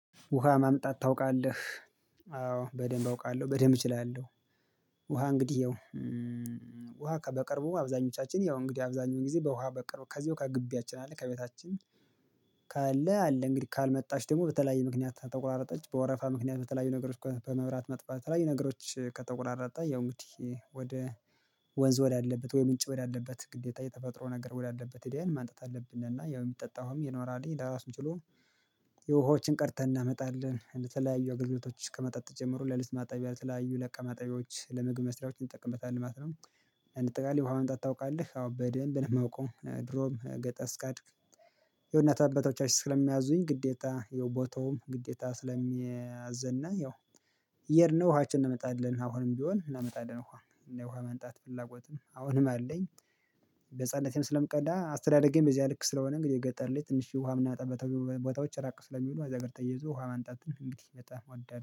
ውሃ ማምጣት ታውቃለህ አዎ በደንብ አውቃለሁ በደንብ እችላለሁ። ውሃ እንግዲህ ያው ውሃ ከበቅርቡ አብዛኞቻችን ያው እንግዲህ አብዛኛው ጊዜ በውሃ በቅርቡ ከዚሁ ከግቢያችን አለ ከቤታችን ካለ አለ እንግዲህ ካልመጣች ደግሞ በተለያየ ምክንያት ከተቋረጠች በወረፋ ምክንያት በተለያዩ ነገሮች በመብራት መጥፋት በተለያዩ ነገሮች ከጠቆራረጠ ያው እንግዲህ ወደ ወንዝ ወዳለበት ወይ ምንጭ ወዳለበት ግዴታ እየተፈጠረው ነገር ወዳለበት ሂደን ማምጣት አለብን። እና ያው የሚጠጣ ውሀም ይኖራልኝ ራሱን ችሎ ውሃዎችን ቀድተን እናመጣለን ለተለያዩ አገልግሎቶች ከመጣጥ ጀምሮ ለልብስ ማጠቢያ ለተለያዩ ለእቃ ማጠብያወች ለምግብ መስሪያዎች እንጠቀምበታለን ማለት ነው። እንጠቃለን ውሃ ወንጣ ታውቃለህ አዎ በደንብ ነው የማውቀው ድሮም ገጠስ ቀድክ። የእውነት አበቶቻችን ስለሚያዙኝ ግዴታ የውቦቶም ግዴታ ስለሚያዘና ያው እየሄድነ ውሃችን እናመጣለን አሁንም ቢሆን እናመጣለን ውሃ እና ውሃ የማንጣት ፍላጎትም አሁንም አለኝ። በህፃንነቴም ስለምቀዳ አስተዳደጌም በዚህ ልክ ስለሆነ እንግዲህ ገጠር ላይ ትንሽ ውሃ እምናመጣበት ቦታዎች ራቅ ስለሚሉ ከዛጋር ተያይዞ ውሃ ማምጣት እንግዲህ በጣም አዳነ